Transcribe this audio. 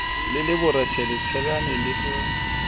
le le borethe letsheare lohle